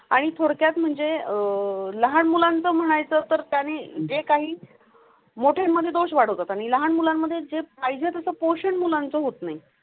लहान मुलांचं म्हणायचं तर त्यांनी जे काही मोठेमध्ये दोष वाढतात आणि लहान मुलांमध्ये जे पाहिजे तसं पोषण मुलांचे होत नाही.